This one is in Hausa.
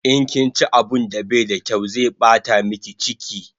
In kinchi abun da bai da kyaw zai bata miki chiki